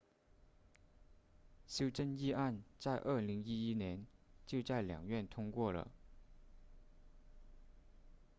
修正议案在2011年就在两院通过了